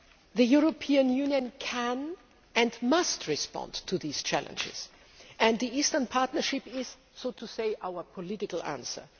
The European Union can and must respond to these challenges and the Eastern Partnership is, so to say, our political answer.